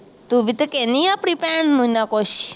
ਤੂੰ ਵੀ ਤਾਂ ਕਹਿੰਦੀ ਅਪਣੀ ਭੈਣ ਨੂੰ ਐਨਾ ਕੁੱਛ